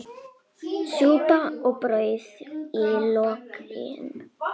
Súpa og brauð í lokin.